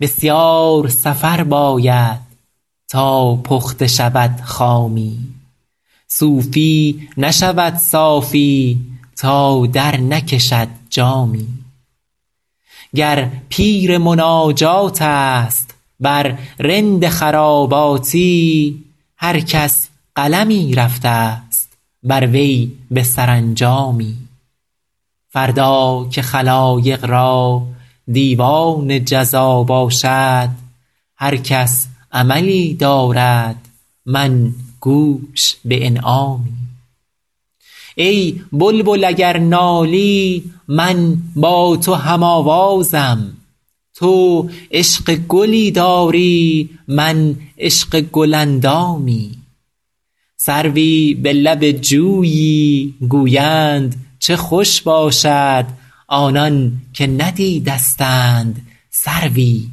بسیار سفر باید تا پخته شود خامی صوفی نشود صافی تا درنکشد جامی گر پیر مناجات است ور رند خراباتی هر کس قلمی رفته ست بر وی به سرانجامی فردا که خلایق را دیوان جزا باشد هر کس عملی دارد من گوش به انعامی ای بلبل اگر نالی من با تو هم آوازم تو عشق گلی داری من عشق گل اندامی سروی به لب جویی گویند چه خوش باشد آنان که ندیدستند سروی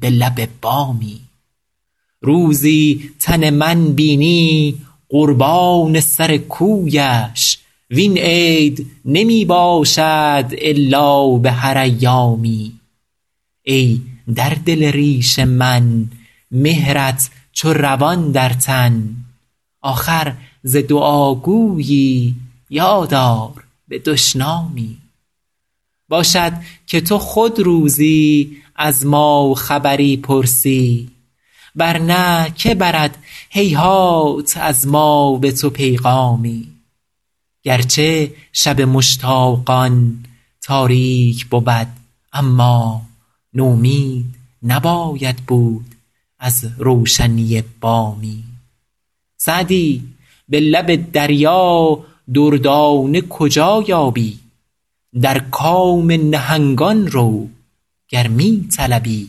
به لب بامی روزی تن من بینی قربان سر کویش وین عید نمی باشد الا به هر ایامی ای در دل ریش من مهرت چو روان در تن آخر ز دعاگویی یاد آر به دشنامی باشد که تو خود روزی از ما خبری پرسی ور نه که برد هیهات از ما به تو پیغامی گر چه شب مشتاقان تاریک بود اما نومید نباید بود از روشنی بامی سعدی به لب دریا دردانه کجا یابی در کام نهنگان رو گر می طلبی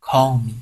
کامی